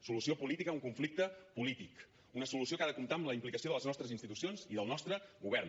solució política a un conflicte polític una solució que ha de comptar amb la implicació de les nostres institucions i del nostre govern